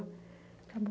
Acabou.